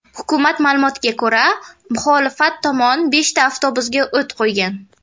Hukumat ma’lumotiga ko‘ra, muxolifat tomoni beshta avtobusga o‘t qo‘ygan.